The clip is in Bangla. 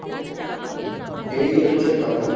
এই হচ্ছে কথা।